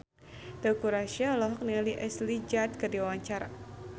Teuku Rassya olohok ningali Ashley Judd keur diwawancara